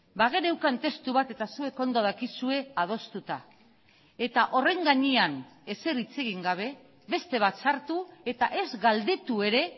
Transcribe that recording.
bageneukan testu bat eta zuek ondo dakizue adostuta eta horren gainean ezer hitz egin gabe beste bat sartu eta ez galdetu ere